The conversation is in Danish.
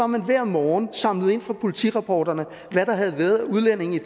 man hver morgen samlede ind fra politirapporterne hvad der havde været af udlændinge